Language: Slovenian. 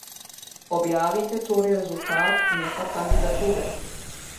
Objavite torej rezultat, ne pa kandidature.